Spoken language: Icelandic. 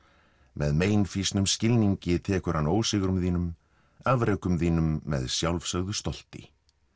með meinfýsnum skilningi tekur hann ósigrum þínum afrekum þínum með sjálfsögðu stolti